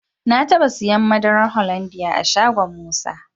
Na taba siyan madarar Hollandia a shagon Musa.